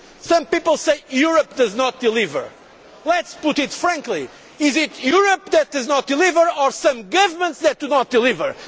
Some people say Europe does not deliver. Let us put it frankly is it Europe that does not deliver or some governments that do not deliver?